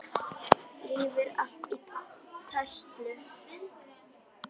Rífur allt í tætlur.